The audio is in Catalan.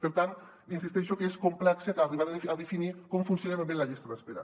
per tant insisteixo que és complex arribar a definir com funciona ben bé la llista d’espera